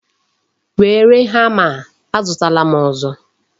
Were hama a, azutala m ọzọ.